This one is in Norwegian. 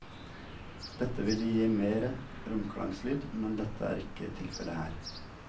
Dette ville gi mere romklangslyd, men dette er ikke tilfelle her.